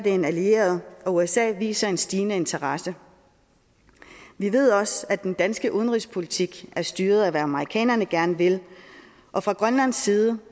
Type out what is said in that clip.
en allieret og usa viser en stigende interesse vi ved også at den danske udenrigspolitik er styret af hvad amerikanerne gerne vil og fra grønlandsk side